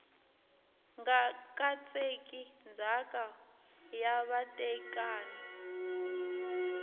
nga katseki ndzhaka ya vatekani